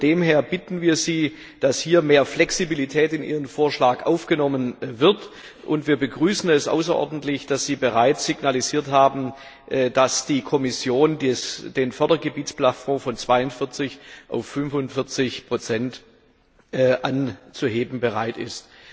Daher bitten wir Sie, dass hier mehr Flexibilität in Ihren Vorschlag aufgenommen wird. Wir begrüßen es außerordentlich, dass Sie bereits signalisiert haben, dass die Kommission den Fördergebietsplafond von 42 auf 45 anzuheben bereit ist.